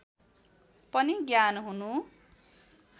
पनि ज्ञान हुनु